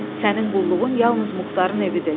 Sənin qulluğun yalnız Muxtarın evidir."